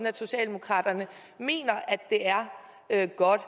at socialdemokratiet mener at det er godt at